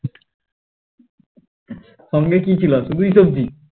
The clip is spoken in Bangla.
সঙ্গে কি ছিল শুধুই সবজি